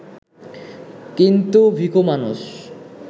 কিন্তু ভিখু মানুষ